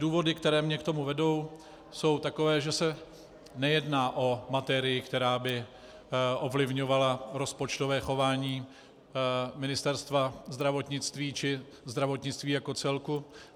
Důvody, které mě k tomu vedou, jsou takové, že se nejedná o materii, která by ovlivňovala rozpočtové chování Ministerstva zdravotnictví či zdravotnictví jako celku.